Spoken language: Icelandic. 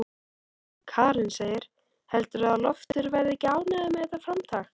Karen: Heldurðu að Loftur verði ekki ánægður með þetta framtak?